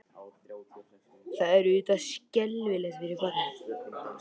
Það er auðvitað skelfilegt fyrir barnið.